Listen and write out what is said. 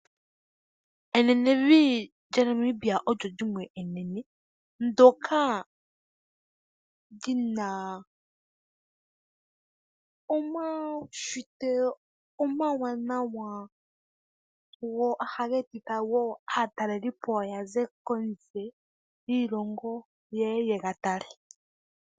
Enenevi lyaNamibia olyo limwe enene ndyoka li na omaushitwe omawanawa go ohage etitha aatalelipo ya ze kondje yoshilongo ye ye yega tale.